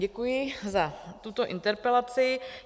Děkuji za tuto interpelaci.